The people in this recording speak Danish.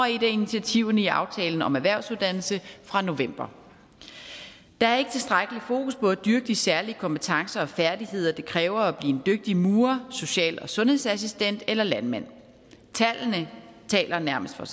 af initiativerne i aftalen om erhvervsuddannelserne fra november der er ikke tilstrækkelig fokus på at dyrke de særlige kompetencer og færdigheder det kræver at blive en dygtig murer social og sundhedsassistent eller landmand tallene taler nærmest for